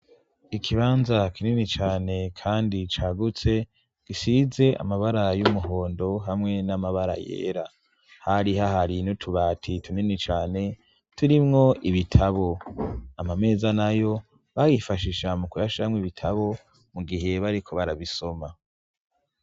Ikibanza kinini cane kandi cagutse, gisize amabara y'umuhondo hamwe n'amabara yera. Hari hahari n'utubati tunini cane turimwo ibitabo. Amameza nayo bayifashisha mu kuyashiramwo ibitabo mu gihe bariko barabisoma.